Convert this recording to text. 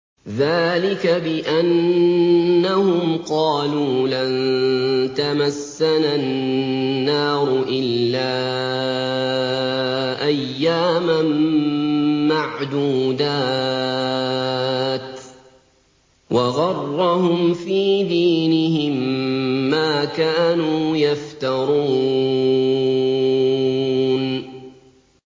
ذَٰلِكَ بِأَنَّهُمْ قَالُوا لَن تَمَسَّنَا النَّارُ إِلَّا أَيَّامًا مَّعْدُودَاتٍ ۖ وَغَرَّهُمْ فِي دِينِهِم مَّا كَانُوا يَفْتَرُونَ